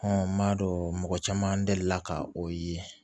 n m'a dɔn mɔgɔ caman delila ka o ye